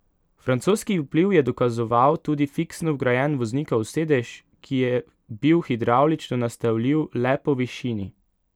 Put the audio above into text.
Francoski vpliv je dokazoval tudi fiksno vgrajen voznikov sedež, ki je bil hidravlično nastavljiv le po višini.